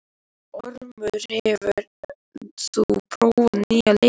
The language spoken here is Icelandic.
Ormur, hefur þú prófað nýja leikinn?